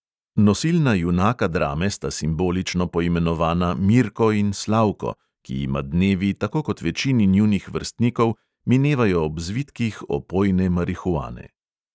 Nosilna junaka drame sta simbolično poimenovana mirko in slavko, ki jima dnevi tako kot večini njunih vrstnikov minevajo ob zvitkih opojne marihuane.